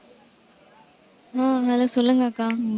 ஹம் hello சொல்லுங்க அக்கா.